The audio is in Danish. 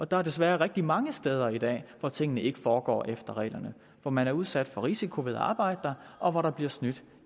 der er desværre rigtig mange steder i dag hvor tingene ikke foregår efter reglerne og hvor man er udsat for risiko ved at arbejde der og hvor der bliver snydt